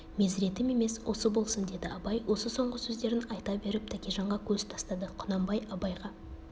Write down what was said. мезіретім емес осы болсын деді абай осы соңғы сөздерін айта беріп тәкежанға көз тастады құнанбай абайға